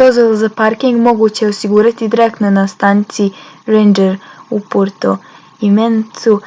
dozvole za parking moguće je osigurati direktno na stanici ranger u puerto jiménezu